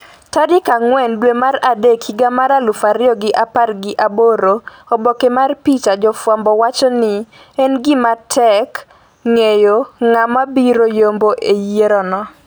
tarik ang'wen dwe mar adek higa mar aluf ariyo gi apar gi aboro Oboke mar picha Jofwambo wacho ni en gima tek ng'eyo ng'a mabiro yombo e yierono